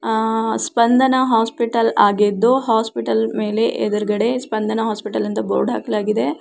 ಅಹ್ Spandana hospital ಆಗಿದ್ದು hospital ಮೇಲೆ ಎದ್ರಗಡೆ ಸ್ಪಂದನ ಹಾಸ್ಪಿಟಲ್ ಅಂತ ಬೋರ್ಡ್ ಹಾಕಲಾಗಿದೆ .